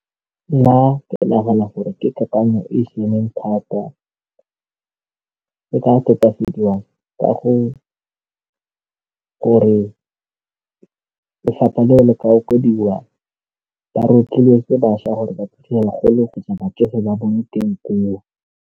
Nna ke nagana gore ke kakanyo e e siameng thata, e ka tokafadiwa ka gore lefapha leo le ka okediwa, ba rotloetse bašwa gore ba batsofe ba bone teng koo.